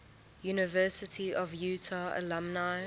university of utah alumni